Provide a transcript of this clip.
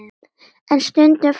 En stundum fáum við nóg.